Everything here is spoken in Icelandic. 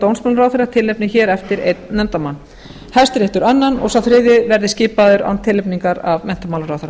dómsmálaráðherra tilnefni hér eftir einn nefndarmann hæstiréttur annan og sá þriðji verði skipaður án tilnefningar af menntamálaráðherra